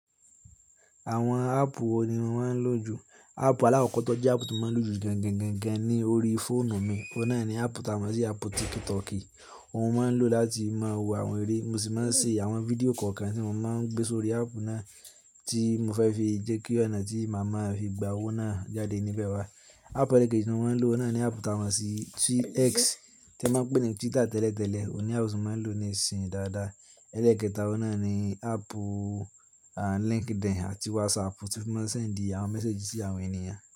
Àwọn áàpù wo ni mo máa ń lò jù? Áàpù aláàkọ́kọ́ tó jẹ́ áàpù tí mo máa ń lò jù gangan-- ganganni orí fóònù mi, ọ̀un nà ẹni áàpù ta mọ̀ sí áàpù Tiktok kí, ohun máa ń lò láti máa wo àwọn eré, mo sì máa ń ṣe àwọn fídíò kọ̀ọ̀kan tí mo máa ń gbé sórí áàpù náà tí mo fẹ́ fi jẹ́ kí ọ̀nà tí màmá fi gba owó náà jáde níbẹ̀ wá. Áàpù ẹ̀lẹ́ẹ̀kẹ́jì tí mo máa ń lò náà ni áàpù ta mọ̀ sí X tí a máa ń pè ní Twitter tẹ́lẹ̀tẹ́lẹ̀, òní áàpù tí mo máa ń lò ní ìsìyin dáadáa. Ẹ́lẹ́ẹ̀kẹ́ta, ọ̀un nà ni áàpù LinkedIn àti WhatsApp tí mo máa ń ṣend àwọn mẹ́séjì sí àwọn ènìyàn.